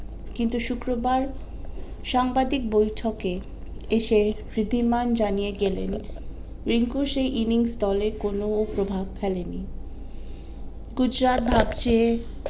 কিন্তু শুক্রবার সাংবাদিক বৈঠকে এসে ঋদ্ধিমান জানিয়ে গেলেন রিঙ্কুর সেই innings দলে কোনো প্রভাব ফেলে নি গুজরাট ভাবছে